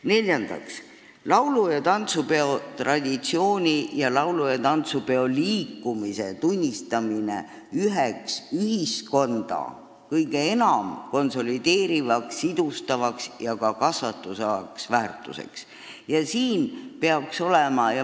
Neljandaks, laulu- ja tantsupeo traditsiooni ning laulu- ja tantsupeo liikumise tunnistamine üheks ühiskonda kõige enam konsolideerivaks, siduvaks ja ka kasvatavaks väärtuseks.